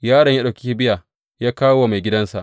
Yaron ya ɗauko kibiya ya kawo wa maigidansa.